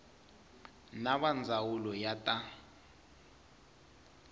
na va ndzawulo ya ta